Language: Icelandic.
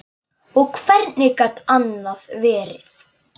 Og hvernig gat annað verið?